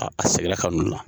A segira ka n'u na.